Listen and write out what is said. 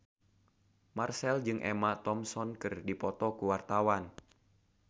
Marchell jeung Emma Thompson keur dipoto ku wartawan